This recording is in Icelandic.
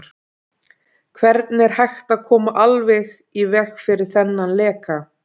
Hvernig er hægt að koma alveg í veg fyrir þennan leka?